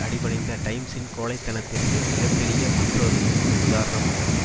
அடிபணிந்த டைம்ஸின் கோழைத்தனத்திற்கு மிக பெரிய மற்றொரு ஒரு உதாரணமாகும்